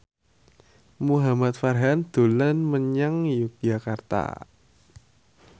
Muhamad Farhan dolan menyang Yogyakarta